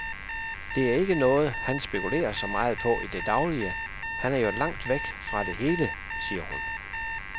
Det er ikke noget, han spekulerer så meget på i det daglige, han er jo langt væk fra det hele, siger hun.